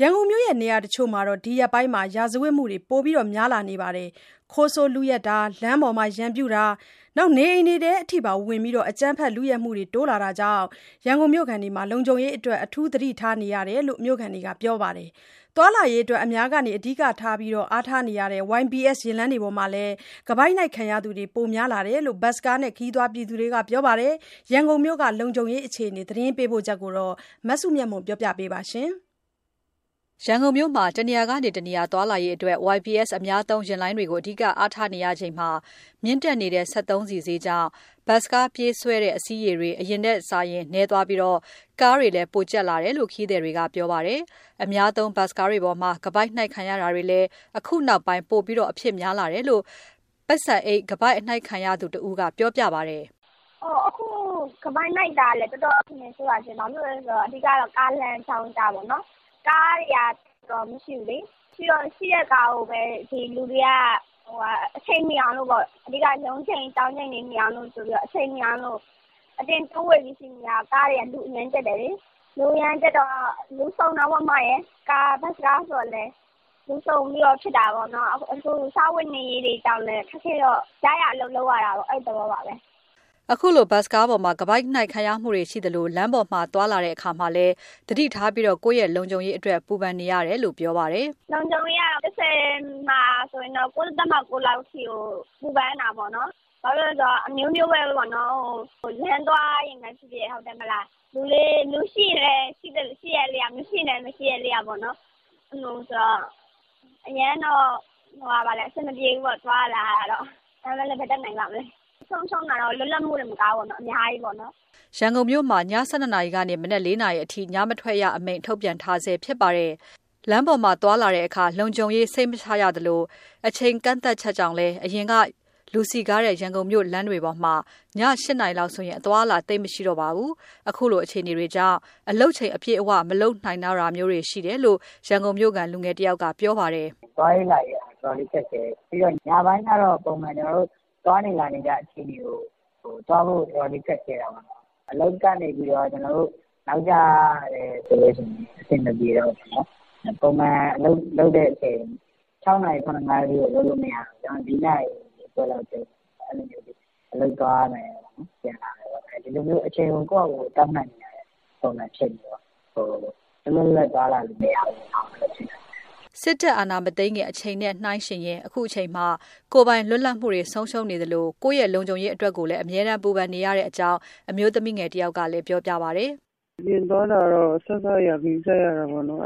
ရန်ကုန်မြို့ နေရာတချို့မှာ ဒီရက်ပိုင်း ရာဇဝတ်မှုတွေပိုများလာပြီး ခိုးဆိုးလုယက်တာ၊ လမ်းပေါ်မှာရန်ပြုတာတွေနဲ့ နေအိမ်ထဲအထိဝင်ပြီး အကြမ်းဖက်လုယက်တာတွေ တိုးလာတာကြောင့် လုံခြုံရေးအတွက် အထူး သတိထားနေရကြောင်း ရန်ကုန်မြို့ခံတွေက ပြောပါတယ်။ သွားလာရေးအတွက် အများက အဓိက အားထားနေရတဲ့ YBS ယာဉ်လိုင်းတွေပေါ်မှာလည်း ခါးပိုက်နှိုက်ခံရသူတွေ ပိုများလာနေတယ်လို့ ဘတ်စ်ကားနဲ့ ခရီးသွားတွေက ပြောပါတယ်။ ရန်ကုန်မြို့အခြေအနေ သတင်းပေးပို့ချက်ကို မစုမြတ်မွန်က တင်ပြပေးထားပါတယ်။ ရန်ကုန်မြို့မှာ တနေရာကနေ တနေရာသွားလာရေးအတွက် YBS အများသုံး ယာဉ်လိုင်းတွေကိုသာ အဓိက အားထားနေရတာပါ။ အခြေခံကုန်ဈေးနှုန်း မြင့်တက်မှုတွေကြား စက်သုံးဆီဈေးကလည်း အတက်ဘက်မှာသာရှိနေလို့ ဘတ်စ်ကားပြေးဆွဲတဲ့ အစီးရေ အရင်ထက်စာရင် နည်းသွာပြီး ကားတွေလည်း ပိုကြပ်လာတယ်လို့ ခရီးသွားတွေက ပြောပါတယ်။ အများသုံး ဘတ်စ်ကားတွေပေါ်မှာ ခါးပိုက်နှိုက် ခံရတာတွေလည်း အခုနောက်ပိုင်း ပိုအဖြစ်များလာတယ်လို့ ကားပေါ်မှာ ပိုက်ဆံအိတ်ခါးပိုက်နှိုက်ခံလိုက်ရသူ တဦးက ပြောပါတယ်။ "အခု ခါးပိုက်နှိုက်တာတွေက တော်တော်အခြေအနေ ဆိုးတာရှင့်။ ဘာဖြစ်လို့လဲဆိုတော့ အဓိကတော့ ကားလမ်းကြောင်းအရပေါ့နော်။ ကားတွေက သိပ်မရှိဘူးလေ။ မရှိတော့ ရှိတဲ့ကားကိုပဲ လူတွေက ရုံးချိန်၊ ကျောင်းချိန်မီအောင်လို့ အတင်းတိုးဝှေ့ ပြီး စီးရတော့ လူအရမ်းကြပ်တယ်လေ။ လူအရမ်းကြပ်တော့ ဘတ်စ်ကားဆိုတော့လည်း လူစုံတာပေါ့။ လူစုံတော့ ခါးပိုက်နှိုက်တာတွေက ဖြစ်ကြတာပေါ့။ ရရာလုပ်ကြတဲ့သဘောပါပဲ။" ဘတ်စ်ကားပေါ်မှာ ခါးပိုက်နှိုက်ခံရတာတွေ ရှိနေသလို လမ်းသွားလမ်းလာရင်လည်း သတိပြုပြီး ကိုယ့်လုံခြုံရေးအတွက် ပူပင်နေရတယ်လို့ ပြောပါတယ်။ "လုံခြုံရေးကတော့ ၁၀ မှာ ၉.၉ လောက်အထိကို ပူပင်ရတာပေါ့နော်။ ဘာဖြစ်လို့လဲ ဆိုတော့ အမျိုးမျိုးဖြစ်နေတာပေါ့။ လမ်းသွားရင်ပဲဖြစ်ဖြစ် လူရှိရင်လည်း ရှိတဲ့အလျောက်၊ မရှိရင်လည်း မရှိတဲ့အလျောက်ပေါ့နော်။ အဲ့လိုဆိုတော့ သွားရလာရတာ အရမ်းတော့ အဆင်မပြေဘူးပေါ့၊ ဒါပေမယ့်လည်း ဘာတတ်နိုင်ပါ့မလဲ။ ဆုံးရှုံးတာကတော့ လွတ်လပ်မှုတင်မဘူး၊ အများကြီးပေါ့နော်။" ရန်ကုန်မြို့မှာ ည ၁၂ နာရီကနေ မနက် ၄ နာရီအထိ ညမထွက်ရအမိန့် ရှိနေပါတယ်။ လမ်းပေါ်သွားလာရင်း ရန်ပြုခံရမှာကို သတိထားနေရတဲ့ကာလမှာ အချိန်ကာလ သတ်မှတ်ချက်တွေကြောင့်လည်း အရင်က ရန်ကုန်မြို့က လူစည်ကားတဲ့ လမ်းတွေပေါ်မှာ ည ၈ နာရီလောက်ဆို အသွားအလာ သိပ်မရှိတော့တာပါ။ ဒီလိုအခြေအနေတွေကြောင့် အလုပ်ချိန်အပြည့်အဝ မလုပ်နိုင်တော့တာမျိုးလည်း ရှိတယ်လို့ ရန်ကုန်မြို့ခံ လူငယ်တဦးက ပြောပါတယ်။ "သွားရေးလာရေးက တော်တော်လေးခက်ခဲတယ်။ ညပိုင်းကတော့ ကျနော်တို့ ပုံမှန် သွားနေလာနေကြတဲ့အချိန်တွေကို သွားဖို့ တော်တော်လေး ခက်ခဲတာပေါ့နော်။ အလုပ်ကနေပြန်တာ နောက်ကျတယ်ဆိုလို့ရှိရင် အဆင်မပြေတော့ဘူးပေါ့နော်။ ပုံမှန်အလုပ်လုပ်တဲ့အချိန် ၆ နာရီ၊ ၇ နာရီလောက်အထိ ကျနော်တို့လုပ်လို့ မရတော့ဘူး။ ၄ နာရီခွဲလောက်သိမ်းတယ်၊ အဲလိုမျိုး အလုပ်ပြန်လာတယ်ပေါ့။ ဒီလိုမျိုး အချိန်ကို ကိုယ့်ဟာကိုယ် သတ်မှတ်နေရတဲ့ပုံစံ ဖြစ်နေတော့ လွတ်လွတ်လပ်လပ် သွားလာလို့ မရဘူးဖြစ်နေတယ်။" စစ်အာဏာမသိမ်းခင်ကာလနဲ့နှိုင်းယှဉ်ရင် အခုချိန်မှာ ကိုယ်ပိုင်လွတ်လပ်မှုတွေ ဆုံးရှုံးနေသလို ကိုယ့်ရဲ့လုံခြုံရေးအတွက်ကိုလည်း ပူပင်နေရကြောင်း အမျိုးသမီးငယ်တဦးက ပြောပါတယ်။ "အပြင်သွားတာတော့ အစစအရာရာ ဂရုစိုက်ရတာပေါ့နော်။